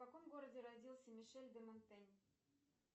в каком городе родился мишель де монтень